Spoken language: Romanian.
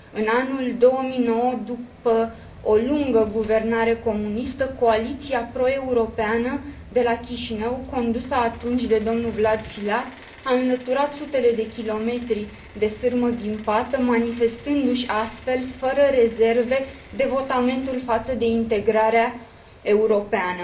În anul 2009, după o lungă guvernare comunistă, coaliția pro europeană de la Chișinău, condusă atunci de domnul Vlad Filat, a înlăturat sutele de kilometri de sârmă ghimpată, manifestându și astfel, fără rezerve, devotamentul față de integrarea europeană.